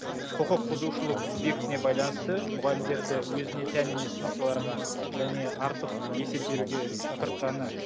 құқық бұзушылық субъектіне байланысты мұғалімдерді өзіне тән емес функцияларға және артық есеп беруге шақыртқаны